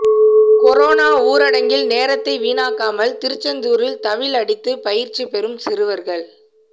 corona ஊரடங்கில் நேரத்தை வீணாக்காமல் திருச்செந்தூரில் தவில் அடித்து பயிற்சி பெறும் சிறுவர்கள்